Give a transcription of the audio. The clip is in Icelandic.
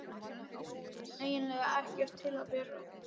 eiginlega ekkert til að vera í.